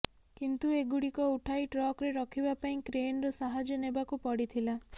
କିନ୍ତୁ ଏଗୁଡ଼ିକ ଉଠାଇ ଟ୍ରକରେ ରଖିବା ପାଇଁ କ୍ରେନର ସାହାଯ୍ୟ ନେବାକୁ ପଡ଼ିଥିଲା